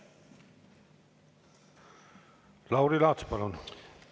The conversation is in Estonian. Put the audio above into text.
Lauri Laats, palun!